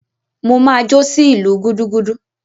Mo máa jó sí ìlù gúdúgúdú.